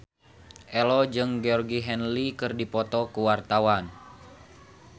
Ello jeung Georgie Henley keur dipoto ku wartawan